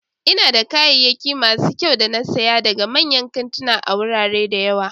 Ina da kayayyaki masu kyau da na saya daga manyan kantuna a wurare da yawa